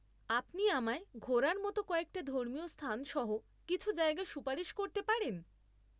আপনি আমায় ঘোরার মতো কয়েকটা ধর্মীয় স্থান সহ কিছু জায়গা সুপারিশ করতে পারেন?